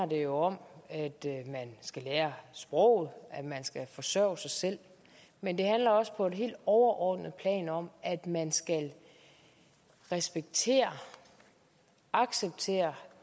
jo om at man skal lære sproget at man skal forsørge sig selv men det handler også på et helt overordnet plan om at man skal respektere og acceptere